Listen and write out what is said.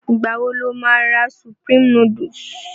Ìgbà wo lo má ra Supreme núdúsì?